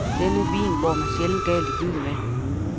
Denne vin går man sjældent galt i byen med.